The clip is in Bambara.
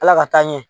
Ala ka taa ɲɛ